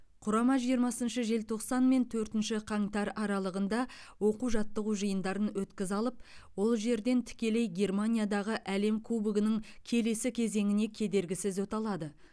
құрама жиырмасыншы желтоқсан мен төртінші қаңтар аралығында оқу жаттығу жиындарын өткізе алып ол жерден тікелей германиядағы әлем кубогының келесі кезеңіне кедергісіз өте алады